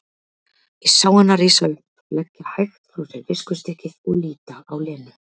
Ég sá hana rísa upp, leggja hægt frá sér viskustykkið og líta á Lenu.